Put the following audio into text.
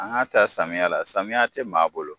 An ka ta samiya la, samiya te maa bolo.